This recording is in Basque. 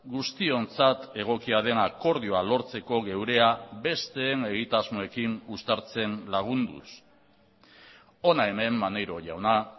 guztiontzat egokia den akordioa lortzeko geurea besteen egitasmoekin uztartzen lagunduz hona hemen maneiro jauna